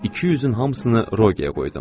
200-ün hamısını Rogerə qoydum.